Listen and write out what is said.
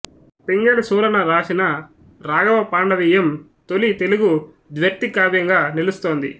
పింగళి సూరన వ్రాసిన రాఘవ పాండవీయం తొలి తెలుగు ద్వ్యర్థి కావ్యంగా నిలుస్తోంది